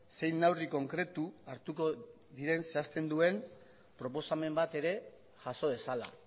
zein neurri konkretu hartuko diren zehazten duen proposamen bat ere jaso dezala